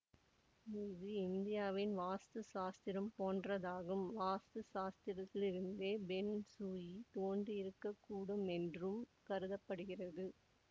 இது இந்தியாவின் வாஸ்து சாஸ்திரம் போன்றதாகும் வாஸ்து சாஸ்திரத்திலிருந்தே பெங் சுயி தோன்றியிருக்கக்கூடுமென்றும் கருத படுகிறது